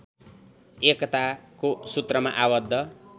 एकताको सुत्रमा आबद्ध